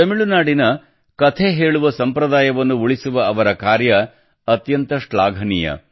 ತಮಿಳುನಾಡಿನ ಕಥೆ ಹೇಳುವ ಸಂಪ್ರದಾಯವನ್ನು ಉಳಿಸುವ ಅವರ ಕಾರ್ಯ ಅತ್ಯಂತ ಶ್ಲಾಘನೀಯ